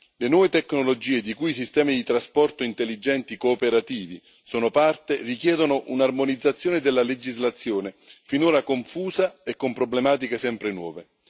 Le nuove tecnologie, di cui i sistemi di trasporto intelligenti cooperativi sono parte, richiedono un'armonizzazione della legislazione, finora confusa e con problematiche sempre nuove.